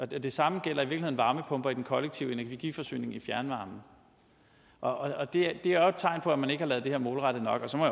det samme gælder i virkeligheden varmepumper i den kollektive energiforsyning i fjernvarme og det er jo et tegn på at man ikke har lavet det her målrettet nok så må